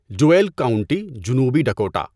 Deuel county, جنوبی Dakota